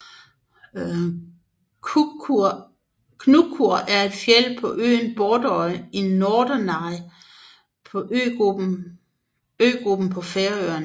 Knúkur er et fjeld på øen Borðoy i Nordoyar øgruppen på Færøerne